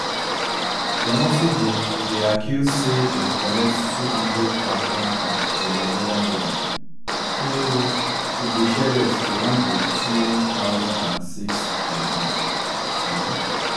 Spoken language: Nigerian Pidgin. dem also dey dey accused say dem collect two hundred thousand from venezuelan leader ewo hugo chvez to run di two thousand and six campaign shuu